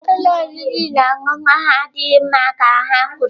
Ụlọ oriri na ọṅụṅụ ahụ adịghị mma ka ha kwuru.